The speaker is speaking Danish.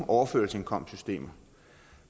overførselsindkomstsystemet